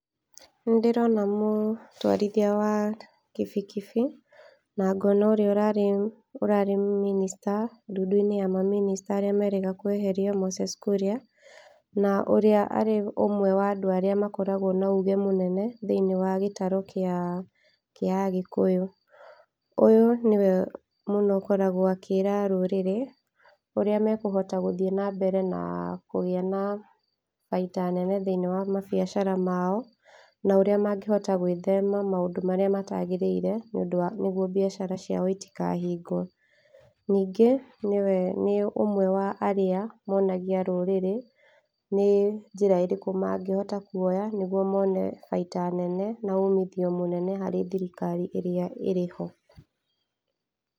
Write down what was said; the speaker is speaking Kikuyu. Nĩ ndĩrona mũtwarithia wa kibikibi, na ngona ũrĩa ũrarĩ minista dudu-inĩ ya maminista arĩa merĩga kweherio Moses Kuria, na ũrĩa arĩ ũmwe wa andũ arĩa makoragwo na ũge mũnene thĩiniĩ wa gĩtarũ kĩa agĩkũyũ , ũyũ nĩye mũno ũkoragwo akĩra rũrĩrĩ ũrĩa mekuhota gũthiĩ na mbere na kũgĩa na baita nene thĩiniĩ wa mabiacara mao, na ũrĩa mangĩhota gwĩthema na maũndũ marĩa matagĩrĩire nĩ ũndũ nĩgwo biacara ciao itikahĩgwo, ningĩ nĩ ũmwe wa arĩa monagia rũrĩrĩ nĩ njĩra irĩkũ mangĩhota kuoha nĩgwo mone bata nene na ũmithio mũnene harĩ thirikari ĩrĩa ĩrĩho.